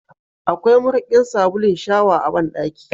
Akwai mariƙin sabulun shawa a bandaki.